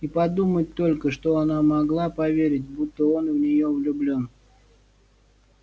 и подумать только что она могла поверить будто он в неё влюблён